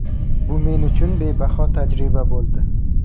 Bu men uchun bebaho tajriba bo‘ldi.